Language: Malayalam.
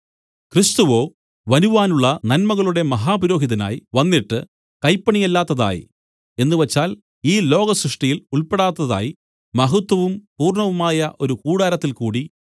ക്രിസ്തുവോ വരുവാനുള്ള നന്മകളുടെ മഹാപുരോഹിതനായി വന്നിട്ട് കൈപ്പണിയല്ലാത്തതായി എന്നുവച്ചാൽ ഈ ലോക സൃഷ്ടിയിൽ ഉൾപ്പെടാത്തതായി മഹത്വവും പൂർണ്ണവുമായ ഒരു കൂടാരത്തിൽ കൂടി